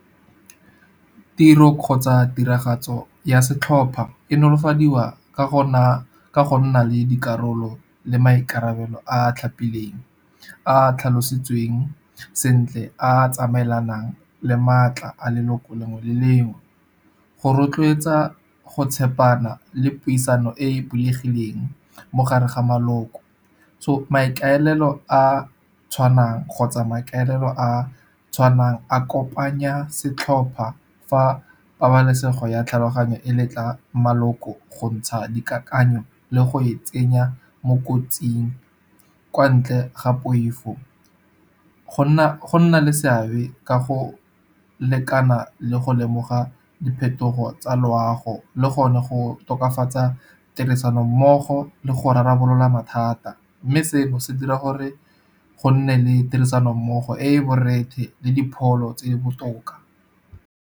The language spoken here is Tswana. Tiro kgotsa tiragatso ya setlhopha e nolofadiwa ka go nna le dikarolo le maikarabelo a a tlhapileng, a a tlhalositsweng sentle, a a tsamaelanang le maatla a leloko lengwe le lengwe. Go rotloetsa go tshepana le puisano e bulegileng mogare ga maloko. So maikaelelo a a tshwanang kgotsa maikaelelo a a tshwanang a kopanya setlhopha fa pabalesego ya tlhaloganyo e letla maloko go ntsha dikakanyo le go e tsenya mo kotsing kwa ntle ga poifo. Go nna le seabe ka go lekana le go lemoga diphetogo tsa loago, le gone go tokafatsa tirisano mmogo le go rarabolola mathata. Mme seno se dira gore go nne le tirisanommogo e e borethe le dipholo tse di botoka.